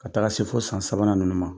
Ka taara se fo san sabanan ninnu ma.